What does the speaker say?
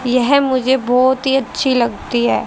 यह मुझे बहोत ही अच्छी लगती है।